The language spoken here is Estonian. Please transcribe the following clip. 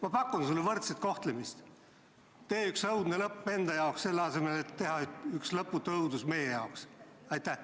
Ma pakun sulle võrdset kohtlemist: tee üks õudne lõpp enda jaoks, selle asemel et teha üks lõputu õudus meie jaoks!